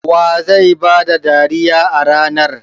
Wa zai ba da dariya a ranar?